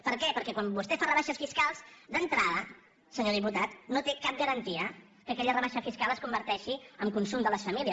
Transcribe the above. per què perquè quan vostè fa rebaixes fiscals d’entrada senyor diputat no té cap garantia que aquella rebaixa fiscal es converteixi en consum de les famílies